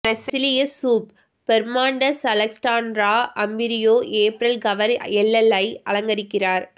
பிரேசிலிய சூப்பர்மாண்டெஸ் Alessandra Ambrosio April cover எல்எல் ஐ அலங்கரிக்கிறார்